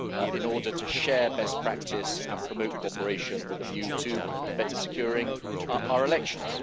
in order to share best practice and promote cooperation with a view to better securing our elections.